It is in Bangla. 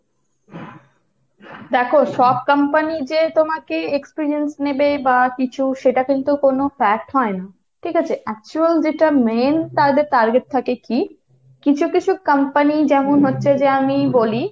দেখো সব company যে তোমাকে experience নেবে বা কিছু সেটা কিন্তু কোন fact হয় না। ঠিক আছে, actual যেটা main তাদের target থাকে কী, কিছু কিছু company যেমন হচ্ছে যে আমি বলি,